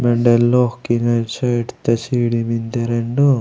ओंडय लोक किना साइड ता छिड़ी मेन्दे रेंडो।